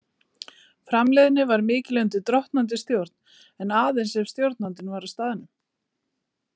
Framleiðni var mikil undir drottnandi stjórn, en aðeins ef stjórnandinn var á staðnum.